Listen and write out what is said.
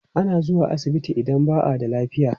Ana zuwa asibiti idan ba a da lafiya.